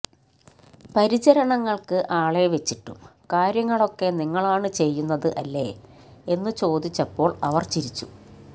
പരിചരണങ്ങൾക്ക് ആളെ വെച്ചിട്ടും കാര്യങ്ങളൊക്കെ നിങ്ങളാണ് ചെയ്യുന്നത് അല്ലേ എന്നു ചോദിച്ചപ്പോൾ അവർ ചിരിച്ചു